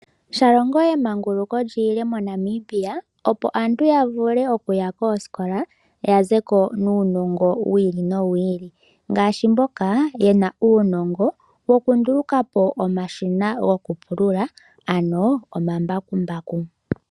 Shalongo emanguluko li ile moNamibia opo aantu ya vule okuya koosikola ya ze ko nuunongo wi ili nowi ili. Ngaashi mboka yena uunongo wokunduluka po omashina gokupulula ano ombakumbaku.